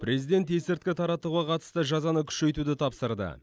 президент есірткі таратуға қатысты жазаны күшейтуді тапсырды